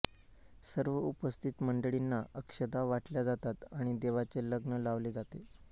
सर्व उपस्थित मंडळींना अक्षदा वाटल्या जातात आणि देवांचे लग्न लावले जाते